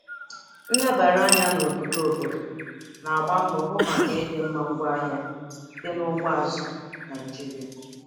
Nlebara anya n'ogige obodo na-agba mbọ hụ maka ịdịmma ngwaahịa dị na ugbo azụ̀ Naịjiria.